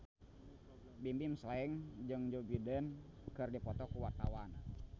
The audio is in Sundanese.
Bimbim Slank jeung Joe Biden keur dipoto ku wartawan